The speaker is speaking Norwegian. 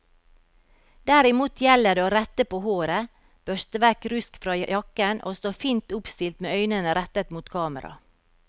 Derimot gjelder det å rette på håret, børste vekk rusk fra jakken og stå fint oppstilt med øynene rettet mot kamera.